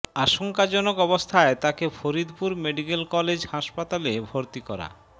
আশঙ্কাজনক অবস্থায় তাকে ফরিদপুর মেডিক্যাল কলেজ হাসপাতালে ভর্তি করা